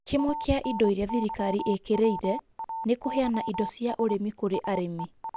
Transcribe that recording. Kĩmwe kĩa indo irĩa thirikari ĩkĩrĩire nĩ kũheana indo cia ũrĩmi kũrĩ arĩmi